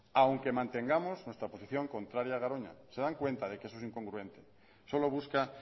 aunque mantengamos nuestra posición contraria a garoña se dan cuenta de que eso es incongruente solo busca